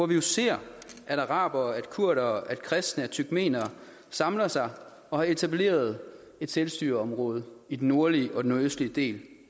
vi ser at arabere kurdere kristne og turkmenere samler sig og har etableret et selvstyreområde i den nordlige og den nordøstlige del